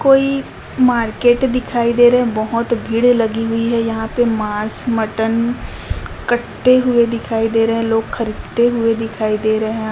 कोई मार्केट दिखाई दे रहे बहोत भीड़ लगी हुई है यहां पे मांस मटन कटते हुए दिखाई दे रहे हैं लोग खरीदते हुए दिखाई दे रहे--